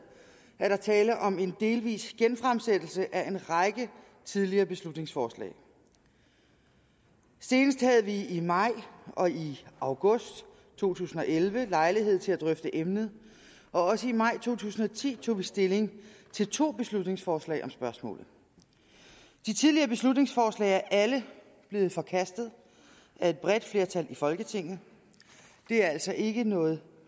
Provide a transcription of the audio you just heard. er der tale om en delvis genfremsættelse af en række tidligere beslutningsforslag senest havde vi i maj og i august to tusind og elleve lejlighed til at drøfte emnet og også i maj to tusind og ti tog vi stilling til to beslutningsforslag om spørgsmålet de tidligere beslutningsforslag er alle blevet forkastet af et bredt flertal i folketinget det er altså ikke noget